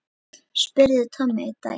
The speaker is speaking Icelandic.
spurði Tommi einn daginn.